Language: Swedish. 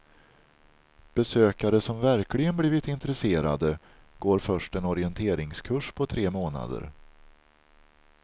Besökare som verkligen blivit intresserade, går först en orienteringskurs på tre månader.